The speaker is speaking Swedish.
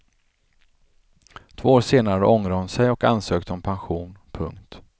Två år senare ångrade hon sig och ansökte om pension. punkt